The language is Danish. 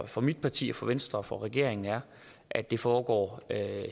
for mit parti for venstre og for regeringen er at det foregår